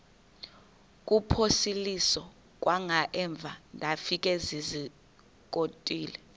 kuphosiliso kwangaemva ndafikezizikotile